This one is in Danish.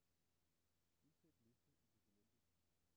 Indsæt liste i dokumentet.